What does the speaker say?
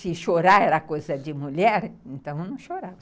Se chorar era coisa de mulher, então eu não chorava.